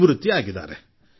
ನಿವೃತ್ತರಾದರು